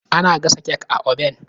Ana gasa kek a oben.